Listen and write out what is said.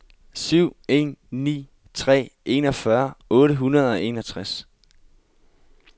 syv en ni tre enogfyrre otte hundrede og enogtres